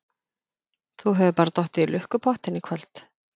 Þú hefur bara dottið í lukkupottinn í kvöld.